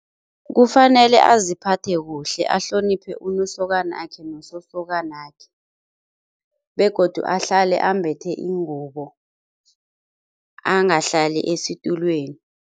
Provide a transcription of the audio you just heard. Kufanele aziphathe kuhle ahloniphe unosokanakhe nososokanakhe begodu ahlale ambethe ingubo angahlali esitulweni.